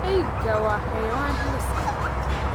eyga waa xayawaan halis ah.